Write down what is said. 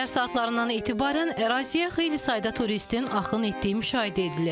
Səhər saatlarından etibarən əraziyə xeyli sayda turistin axın etdiyi müşahidə edilir.